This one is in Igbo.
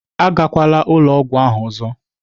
Agakwala ụlọ ọgwụ ahụ ọzọ!